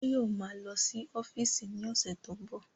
Báyọ̀ ma lọ sí ọ́fíìsì ní ọ̀sẹ̀ tó ń bọ̀